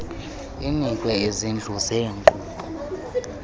inikwe izintlu zeenkqubo